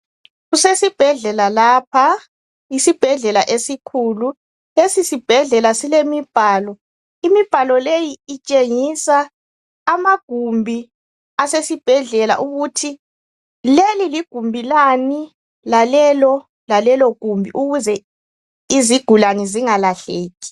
Kusesibhedlela lapha, isibhedlela esikhulu. Lesi sibhedlela silemibhalo imibhalo leyi itshengisa amagumbi asesibhedlela ukuthi leli ligumbi lani lalelo lalelogumbi ukuze izigulane zingalahleki.